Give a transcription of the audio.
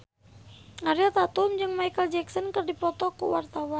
Ariel Tatum jeung Micheal Jackson keur dipoto ku wartawan